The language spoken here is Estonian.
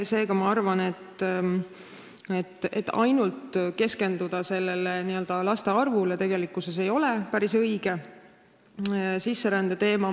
Seega ma arvan, et tegelikkuses ei ole päris õige ainult sellele laste arvule keskenduda.